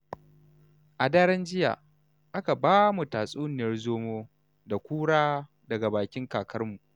A daren jiya, aka ba mu tatsuniyar zomo da kura daga bakin kakarmu.